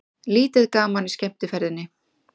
Lítið gaman í skemmtiferðinni